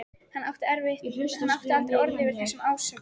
Hann átti aldrei orð yfir þessum ásökunum.